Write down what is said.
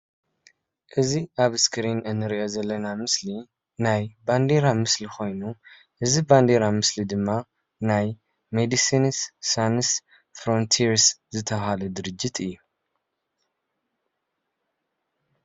እዚ አብ እስክሪን እንሪኦ ዘለና ምስሊ ናይ ባንዴራ ምስሊ ኮይኑ ፤ እዚ ባንዴራ ምስሊ ድማ ናይ መዲስንስ ሳንስ ፍረንቲሪስ ዝተበሃለ ድርጅት እዩ፡፡